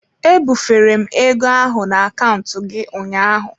Ebufere m ego ahụ na akaụntụ gị ụnyaahụ.